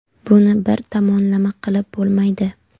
Buni bir tomonlama qilib bo‘lmaydi.